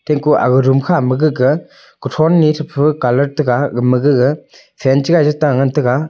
emku aga room kha ma gaga kuthon ni thapa colour taga gama gaga fan chagai ta ngan taiga.